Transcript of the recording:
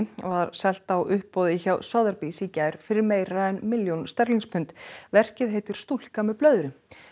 var selt á uppboði hjá Sothebys í gær fyrir meira en milljón pund verkið heitir stúlka með blöðru